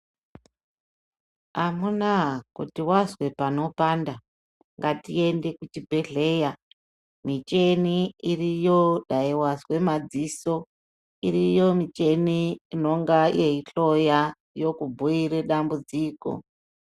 Amuna kuti vazwa panopanda, ngatiende kuzvibhedhleya michini iriyo dai vazwe madziso, iriyo michini inonga yeikuhloya yekubhuire dambudziko.